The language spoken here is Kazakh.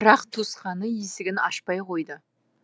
бірақ туысқаны есігін ашпай қойды